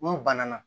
N'u banana